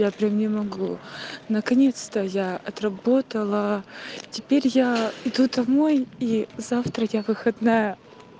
я прям не могу наконец-то я отработала теперь я иду домой и завтра я выходная